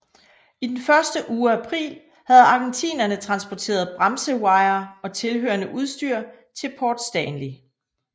I den første uge af april havde argentinerne transporteret bremsewire og tilhørende udstyr til Port Stanley